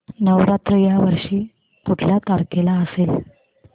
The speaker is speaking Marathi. नवरात्र या वर्षी कुठल्या तारखेला असेल